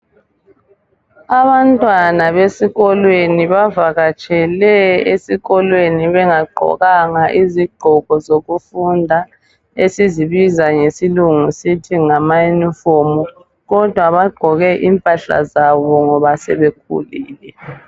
Abantwana besikolweni bavakatshele esikolweni bengagqokanga izigqoko zokufunda esizibiza ngesilungu sithi ngama uniform kodwa bagqoke impahla zabo ngoba sebekhulile.